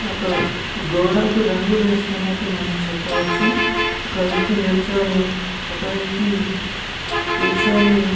ఒక గోడకు రంగులు వేస్తున్నట్టు మనం చెప్పవచ్చు. ఒక వ్యక్తి నిలుచొని ఒక వ్యక్తి కూర్చుని --